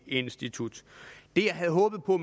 institut det jeg havde håbet på